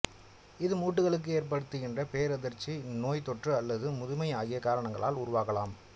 இது மூட்டுகளுக்கு ஏற்படுகின்ற பேரதிர்ச்சி நோய்த்தொற்று அல்லது முதுமை ஆகிய காரணங்களால் உருவாகலாம்